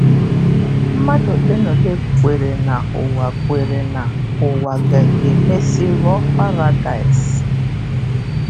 MMADỤ olenaole kweere na ụwa kweere na ụwa ga-emesị ghọọ paradaịs?